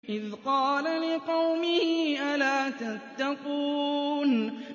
إِذْ قَالَ لِقَوْمِهِ أَلَا تَتَّقُونَ